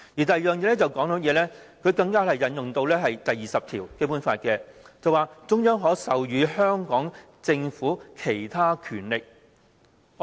第二，政府更引用《基本法》第二十條，指中央政府可授予香港政府其他權力。